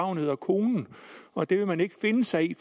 hun hedder konen og det vil man ikke finde sig i